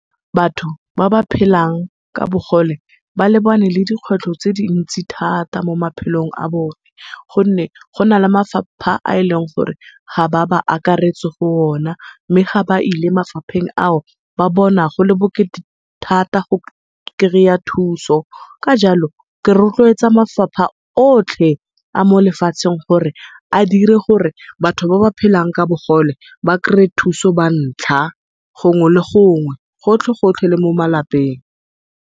Batho ba ba phelang ka bogole, ba lebane le dikgwetlho tse dintsi thata mo maphelong a bone. Gonne go na le mafapha a e leng gore ga ba ba akaretse go o na. Mme ga ba ile mafapheng ao, ba bona go le bokete thata go kry-a thuso ka jalo ke retloetsa mafapha otlhe a molefatsheng gore a dire gore batho ba ba phelang ka bogole ba kry-e thuso bantlha gongwe le gongwe, gotlhe le gotlhe le mo malapeng.